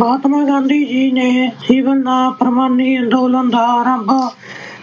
ਮਹਾਤਮਾ ਗਾਂਧੀ ਜੀ ਨੇ ਸਿਵਲ-ਨਾ-ਫੁਰਮਾਨੀ ਅੰਦੋਲਨ ਦਾ ਆਰੰਭ,